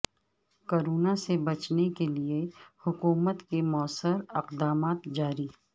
corona سے بچنے کیلئے حکومت کے موثر اقدامات جاری